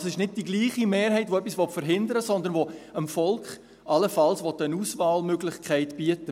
Es ist also nicht die gleiche Mehrheit, die etwas verhindern will, sondern man will dem Volk allenfalls eine Auswahlmöglichkeit bieten.